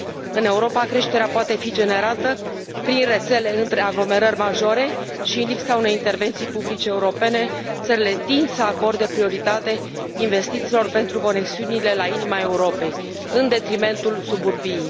În Europa, creșterea poate fi generată prin rețele între aglomerări majore și, în lipsa unei intervenții publice europene, țările tind să acorde prioritate investițiilor pentru conexiunile la inima Europei, în detrimentul suburbiei.